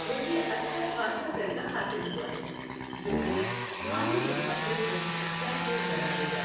مجھے اچھا خاصا ترکہ حاصل ہوا ہے جو میرے مالی مستقبل کو محفوظ بنا دے گا۔